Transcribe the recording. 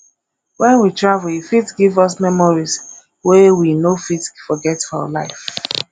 when we travel e fit give us memories wey we no fit forget for life